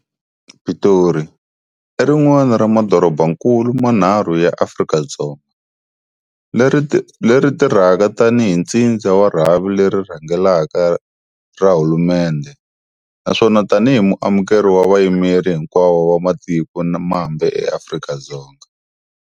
Pitori, i rin'wana ra madorobakulu manharhu ya Afrika-Dzonga, leri tirhaka tanihi ntsindza wa rhavi leri rhangelaka ra hulumendhe, naswona tanihi muamukeri wa vayimeri hinkwavo va matiko mambe eAfrika-Dzonga.